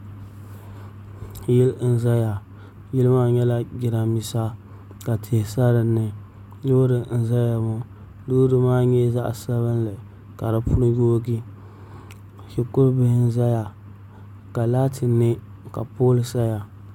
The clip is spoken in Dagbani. Yili n ʒɛya yili maa nyɛla jiranbiisa ka tihi sa dinni loori n ʒɛya ŋo loori maa nyɛla zaɣ sabinli ka di puni yoogi shikuru bihi n ʒɛya ka laati nɛ ka pool saya